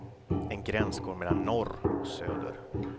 En gräns går mellan norr och söder.